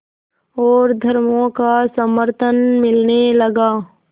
और धर्मों का समर्थन मिलने लगा